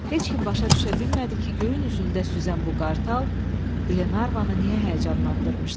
Heç kim başa düşə bilmədi ki, göyün üzündə süzən bu qartal Glenarvanı niyə həyəcanlandırmışdı.